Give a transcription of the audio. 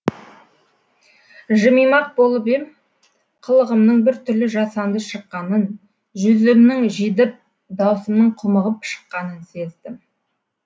жымимақ болып ем қылығымның біртүрлі жасанды шыққанын жүзімнің жидіп даусымның құмығып шыққанын сездім